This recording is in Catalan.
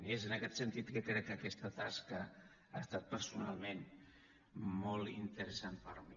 i és en aquest sentit que crec que aquesta tasca ha estat personalment molt interessant per a mi